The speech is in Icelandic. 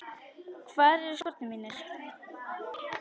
Hvar eru skórnir mínir?